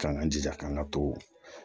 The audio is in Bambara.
K'an jija k'an ka to